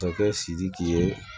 Masakɛ sidiki ye